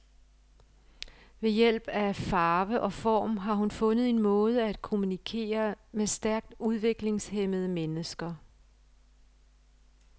Ved hjælp af farve og form har hun fundet en måde at kommunikere med stærkt udviklingshæmmede mennesker.